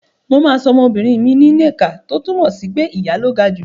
Mà á sọ ọmọbìnrin mi ni Nneka “ tó túmọ̀ sí pé ìyá ló ga jù”.